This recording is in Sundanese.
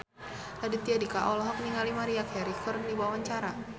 Raditya Dika olohok ningali Maria Carey keur diwawancara